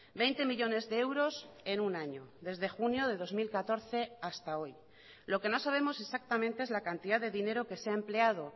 veinte millónes de euros en un año desde junio de dos mil catorce hasta hoy lo que no sabemos exactamente es la cantidad de dinero que se ha empleado